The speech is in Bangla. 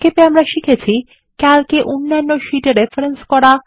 সংক্ষেপে আমরা শিখেছি ক্যালকে অন্যান্য শীট এ রেফারেন্স করা